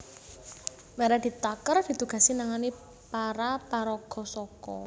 Meredith Tucker ditugasi nangani para paraga saka